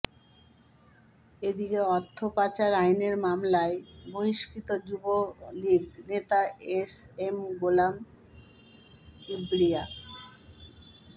এদিকে অর্থ পাচার আইনের মামলায় বহিষ্কৃত যুবলীগ নেতা এস এম গোলাম কিবরিয়া